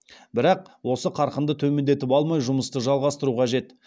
бірақ осы қарқынды төмендетіп алмай жұмысты жалғастыру қажет